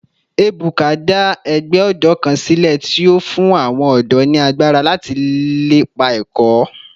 Ebuka da egbe odo kan sile ti o fun awon odo ni agbara lati lepa eko